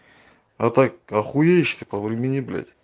а так охуеешь ты повремени блять